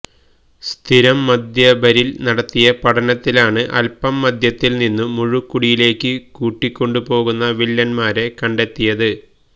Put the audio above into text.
സ്ഥിരം മദ്യപരില് നടത്തിയ പഠനത്തിലാണ് അല്പം മദ്യത്തില് നിന്നും മുഴുക്കുടിയിലേക്ക് കൂട്ടിക്കൊണ്ടു പോകുന്ന വില്ലന്മാരെ കണ്ടെത്തിയത്